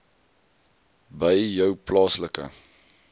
by jou plaaslike